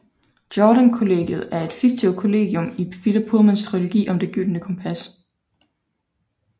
Jordan Kollegiet er et fiktivt kollegium i Philip Pullmans trilogi om Det Gyldne Kompas